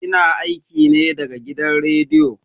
Ina aiki ne da gidan rediyo.